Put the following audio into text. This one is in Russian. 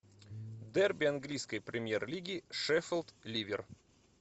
дерби английской премьер лиги шеффилд ливер